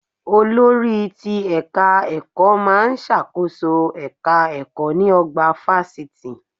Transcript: Olórí ti ẹ̀ka ẹ̀kọ́ má a ń ṣàkóso èka ẹ̀kọ́ ní ọgbà fásitì